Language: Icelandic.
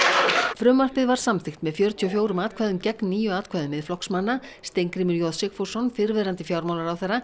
frumvarpið var samþykkt með fjörutíu og fjórum atkvæðum gegn níu atkvæðum Miðflokksmanna Steingrímur j Sigfússon fyrrverandi fjármálaráðherra